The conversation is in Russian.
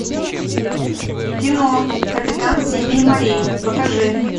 кино капитан семи морей покажи